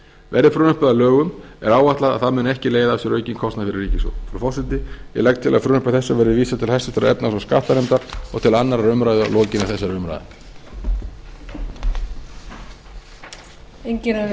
verði frumvarpið að lögum er áætlað að það muni ekki leiða af sér aukin kostnað fyrir ríkissjóð frú forseti ég legg til að frumvarpi þessu verði vísað til háttvirtrar efnahags og skattanefndar og til annarrar umræðu að lokinni þessari umræðu